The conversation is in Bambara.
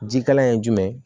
Jikalan ye jumɛn ye